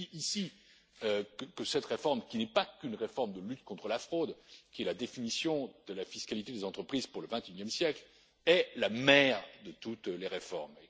Je dis ici que cette réforme, qui n'est pas qu'une réforme de lutte contre la fraude, qui est la définition de la fiscalité des entreprises pour le 21e siècle, est la mère de toutes les réformes.